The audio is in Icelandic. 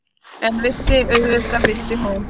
En vissi- auðvitað vissi hún.